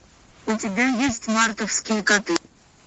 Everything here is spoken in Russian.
у тебя есть мартовские коты